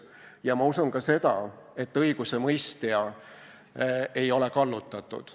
Ja ma usun ka seda, et õigusemõistja ei ole kallutatud.